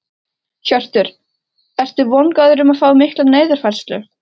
Hjörtur: Ertu vongóður um að fá mikla niðurfærslu?